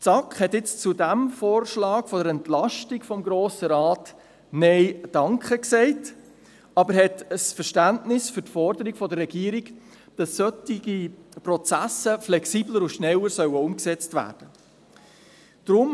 Die SAK hat jetzt zu diesem Vorschlag der Entlastung des Grossen Rates «Nein danke» gesagt, aber sie hat Verständnis für die Forderung der Regierung, dass solche Prozesse flexibler und rascher umgesetzt werden sollen.